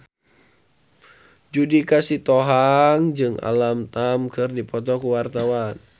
Judika Sitohang jeung Alam Tam keur dipoto ku wartawan